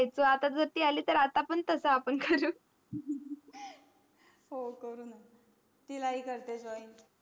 आता जर आली आता पण तस करू हो करू ना तिलाही करते join